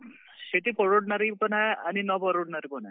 शेती परवडणारी पण आहे आणि न परवडणारी पण आहे.